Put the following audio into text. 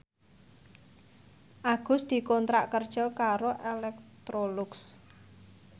Agus dikontrak kerja karo Electrolux